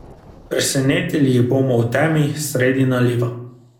Presenetili jih bomo v temi, sredi naliva.